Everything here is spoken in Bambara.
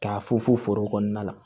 K'a funfun foro kɔnɔna la